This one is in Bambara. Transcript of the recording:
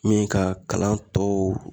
Min ka kalan tɔw